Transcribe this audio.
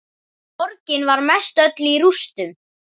Borgin var mestöll í rústum.